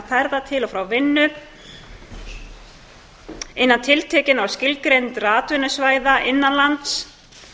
ferða til og frá vinnu innan tiltekinna og skilgreindra atvinnusvæða innan lands